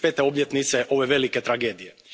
obljetnice ove velike tragedije.